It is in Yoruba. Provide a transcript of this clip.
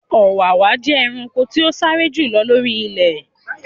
Ọ̀wàwà jẹ́ ẹranko tí o sáré jù lọ lori ilẹ.